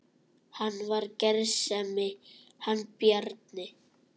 Hann var gersemi hann Bjarni.